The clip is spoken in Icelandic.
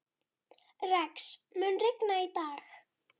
Rex, mun rigna í dag?